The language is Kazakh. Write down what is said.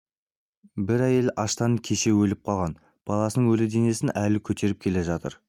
бір әйел аштан кеше өліп қалған баласының өлі денесін әлі көтеріп келе жатыр